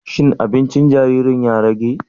Shin aɓincin jariri ya rage?